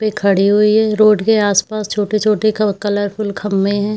पे खड़ी हुई है रोड के आसपास छोटे-छोटे क कलरफुल खम्बें हैं।